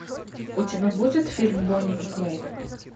у тебя будет фильм бонни и клайд